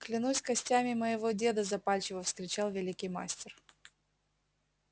клянусь костями моего деда запальчиво вскричал великий мастер